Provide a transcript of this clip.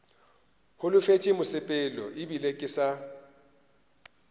holofetše mosepelo ebile ke sa